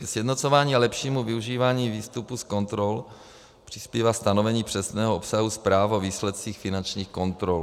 Ke sjednocování a lepšímu využívání výstupů z kontrol přispívá stanovení přesného obsahu zpráv o výsledcích finančních kontrol.